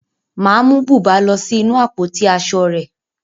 Màá mú bùbá lọ sí inú àpótí aṣọ rẹ̀